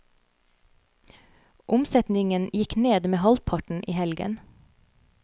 Omsetningen gikk ned med halvparten i helgen.